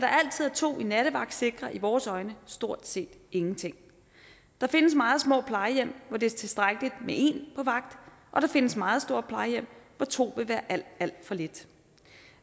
to i nattevagt sikrer i vores øjne stort set ingenting der findes meget små plejehjem hvor det er tilstrækkeligt med en på vagt og der findes meget store plejehjem hvor to vil være alt alt for lidt